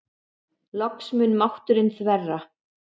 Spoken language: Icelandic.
Loks mun mátturinn þverra.